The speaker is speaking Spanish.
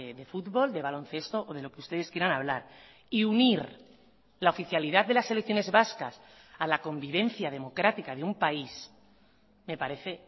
de fútbol de baloncesto o de lo que ustedes quieran hablar y unir la oficialidad de las selecciones vascas a la convivencia democrática de un país me parece